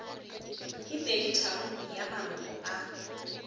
ke peditharong ya maloko a